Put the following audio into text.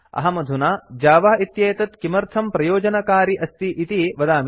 अहमधुना Java इत्येतत् किमर्थं प्रयोजनकारि अस्ति इति वदामि